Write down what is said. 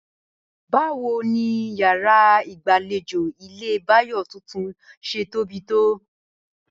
Báwo ni yàrá ìgbàlejò ilé Báyò̩ tuntun s̩e tóbi tó?